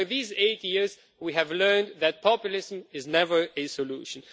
Over these eight years, we have learned that populism is never a solution.